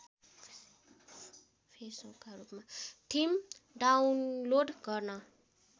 theme download गर्न